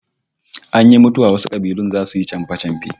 Ana yin mutuwa wasu kabilun zasu yi ta chamfe-chamfe